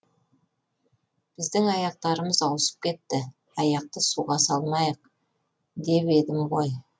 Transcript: біздің аяқтарымыз ауысып кетті аяқты суға салмайық деп едім ғой